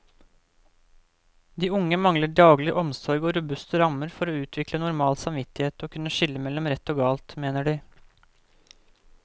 De unge mangler daglig omsorg og robuste rammer for å utvikle normal samvittighet og kunne skille mellom rett og galt, mener de.